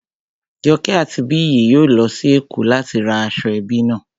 Joke àti Biyi yóò lọ sí Èkó láti ra aṣọ ẹbí náà